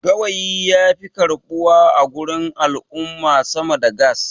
gawayi ya fi karɓuwa a gurin al'umma sama da gas